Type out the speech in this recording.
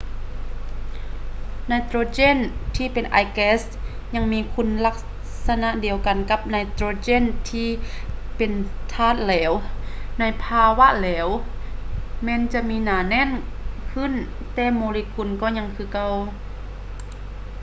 ໄນໂຕຣເຈນທີ່ເປັນອາຍແກັສຍັງມີຄຸນລັກສະນະດຽວກັນກັບໄນໂຕຣເຈນທີ່ເປັນທາດທາດແຫຼວ ໃນພາວະເຫຼວແມ່ນຈະມີໜາແໜ້ນຂຶ້ນແຕ່ໂມເລກຸນກໍຍັງຄືເກົ່າ